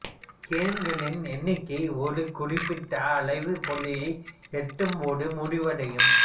கேம்களின் எண்ணிக்கை ஒரு குறிப்பிட்ட அளவை புள்ளியை எட்டும்போது முடிவடையும்